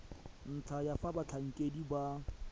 ntlha ya fa batlhankedi ba